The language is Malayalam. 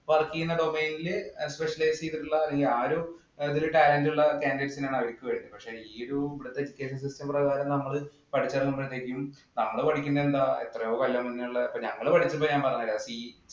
work ചെയ്തിട്ടുള്ള domain ഇല്‍ specialize ചെയ്തിട്ടുള്ള ആരെങ്കിലും ആരോ ഇതില്‍ talent ഉള്ള candidate ആണ് അവര്‍ക്ക് വേണ്ടത്. പക്ഷെ ഈ ഒരു ഇവിടുത്തെ വിദ്യാഭ്യാസ system പ്രകാരം നമ്മള് പഠിച്ചെന്നു പറഞ്ഞു നിക്കും. നമ്മള് പഠിക്കുന്നതെന്താ എത്രയോ കൊല്ലം മുന്നേയുള്ളഇപ്പം ഞങ്ങള് പഠിച്ചപ്പോ ഞാന്‍ പറഞ്ഞല്ലോ C